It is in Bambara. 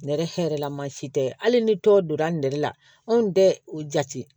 Nɛrɛ hɛrɛ la maa si tɛ hali ni tɔw donna nɛrɛla anw tɛ o jate